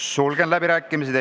Sulgen läbirääkimised.